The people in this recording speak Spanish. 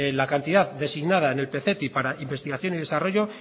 la cantidad designada en el pcti para investigación y desarrollo